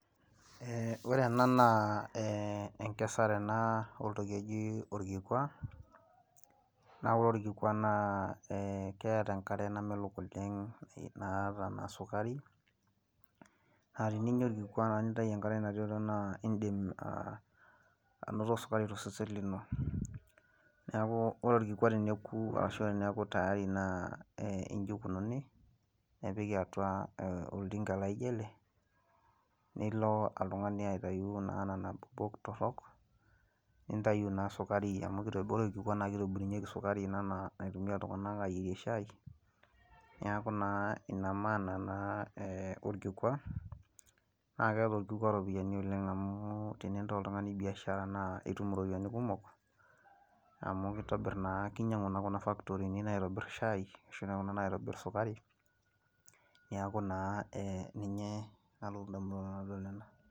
ee ore ena naa eneksare ena oltoki oji olkikua, naa ore orkikuaa naa keeta enkare namelok oleng naata ena sukari, naa teninyia olkikua naa nintayu enkare natii atua, naa idim, aa anoto sukari tosesen lino. neeku ore orkikua teneku ashu teneeku tayari naa iji ikunini, nepiki atua oltinka laijo ele, nilo oltungani aitayu nena kulupok torok, nintayu naa sukari amu ore orkikua naa kitobirunyieki sukari ena naitumia iltunganak aayierie shai. niaku naa ina maana naa orkikua, naa keeta orkikua iropiyianai oleng amu tenintaa oltungani biashara, nitum iropiyiani ,kumk, amu kinyiangu naa kuna factory naitobirieki shai, ashu kuna naitobir sukari, niaku naa ee ninye nanu adolita.